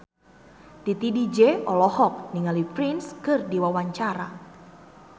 Titi DJ olohok ningali Prince keur diwawancara